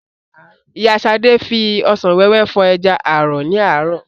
Ìyá Ṣadé fi òsán wẹ́wẹ́ fọ̀ ẹja ààrọ̀ ní àárọ̀